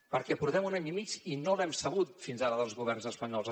perquè portem un any i mig i no l’hem sabut fins ara dels governs espanyols